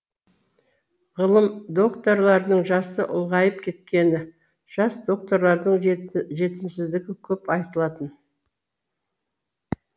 ғылым докторларының жасы ұлғайып кеткені жас докторлардың жетімсіздігі көп айтылатын